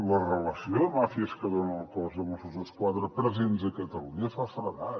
la relació de màfies que dona el cos de mossos d’esquadra presents a catalunya fa feredat